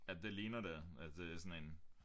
Ja det ligner det at det er sådan en